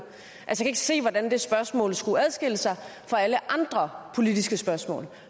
jeg kan ikke se hvordan det spørgsmål skulle adskille sig fra alle andre politiske spørgsmål